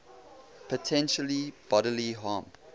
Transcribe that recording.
potential bodily harm